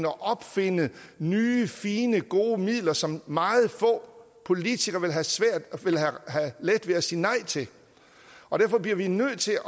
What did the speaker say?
opfinde nye fine gode midler som meget få politikere vil have let ved at sige nej til og derfor bliver vi nødt til